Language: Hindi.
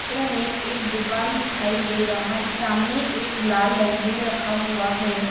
इस चित्र मे एक दुखान दिखाई दे रहा है सामने एक लाल डस्ट्बिन रखा हुआ है।